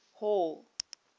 hall